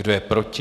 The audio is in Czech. Kdo je proti?